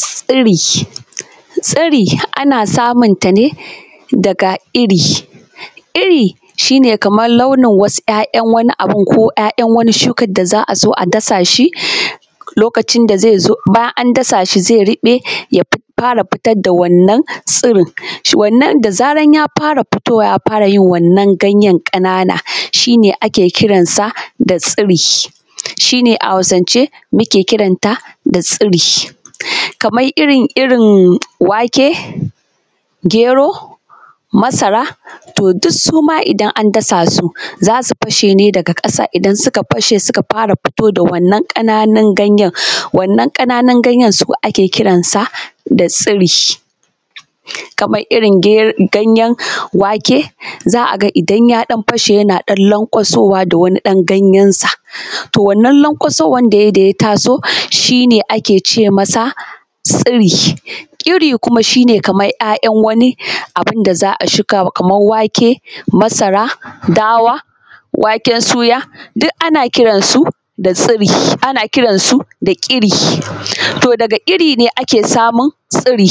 Tsiri, tsiri ana samunta ne daga iri, iri shi ne kamar launin yana wasu abu ko ‘ya’yan wani shukan da za a zo a dasa shi lokacin da ze zo bayan an dasa shi ze ruɓe, ya fara fitar da wannan tsirin. Wannan dai bayan ya fara fito wa ya fara yin wannan ganyen ƙanana shi ne ake kiran sa da tsiri, shi ne a Hausance ake kiransa da tsiri. Kaman irin-irin wake, gyero, masara to duk suma idan an dasa shi za su fashe ne daga ƙasa idan suka fara fito da wannan ƙananun ganyen wannan ƙananun ganyen su ake kiransa da tsiri. Kaman irin dai ganyen wake za a ga idan ya ɗan fashe yana lanƙayowa da wani ɗan ganyensa, wannan lanƙwasowan da ya yi da ya ta so shi ne ake ce masa tsiri. Iri shi ne kaman ‘ya’yan wani abun da za a shuka, kaman wake, masara, dawa, waken suya duk ana kiransu da tsiri, ana kiransu da ƙiri to daga iri ne ake samun tsiri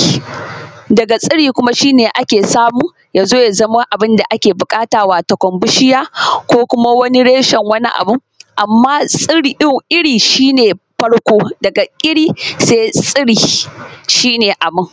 daga tsiri ne ake samun ya zo ya zama abun da ake buƙata watakan bishiya ko kuma wani reshen wani abu, amma tsiri shi ne farko daga iri se tsiri shi ne abun. ƙiri se tsiri wato shi ne abun.